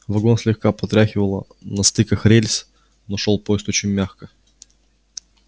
вагон слегка потряхивало на стыках рельс но шёл поезд очень мягко